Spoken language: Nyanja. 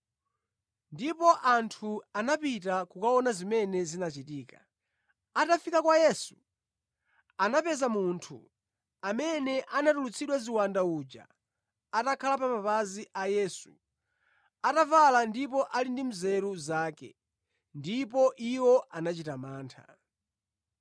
Ndipo anthu anapita kukaona zimene zinachitika. Atafika kwa Yesu, anapeza munthu amene anatulutsidwa ziwanda uja atakhala pa mapazi a Yesu, atavala ndipo ali ndi nzeru zake; ndipo iwo anachita mantha.